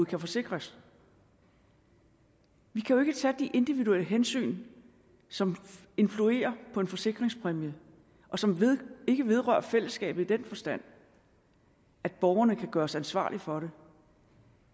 kan forsikres vi kan jo ikke tage de individuelle hensyn som influerer på en forsikringspræmie og som ikke vedrører fællesskabet i den forstand at borgerne kan gøres ansvarlige for det